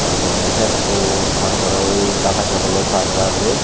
er porey headphone tar porey ui data cable or charger dey.